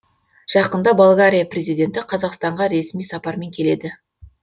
жақында болгария президенті қазақстанға ресми сапармен келеді